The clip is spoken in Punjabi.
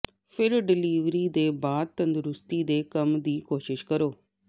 ਫਿਰ ਡਿਲੀਵਰੀ ਦੇ ਬਾਅਦ ਤੰਦਰੁਸਤੀ ਦੇ ਕੰਮ ਦੀ ਕੋਸ਼ਿਸ਼ ਕਰੋ